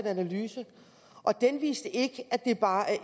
analyse og den viste ikke at det bare